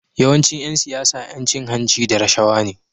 Yawancin Yan siyara Yan cin hanci da rashawa ne